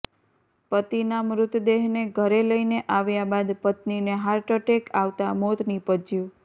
પતિના મૃતદેહને ઘરે લઈને આવ્યા બાદ પત્નીને હાર્ટઅટેક આવતા મોત નીપજ્યું